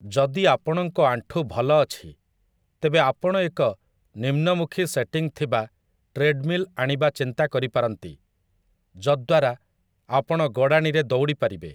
ଯଦି ଆପଣଙ୍କ ଆଣ୍ଠୁ ଭଲ ଅଛି, ତେବେ ଆପଣ ଏକ ନିମ୍ନମୁଖୀ ସେଟିଂ ଥିବା ଟ୍ରେଡମିଲ୍‌ ଆଣିବା ଚିନ୍ତା କରିପାରନ୍ତି, ଯଦ୍ଦ୍ୱାରା ଆପଣ ଗଡ଼ାଣିରେ ଦୌଡ଼ିପାରିବେ ।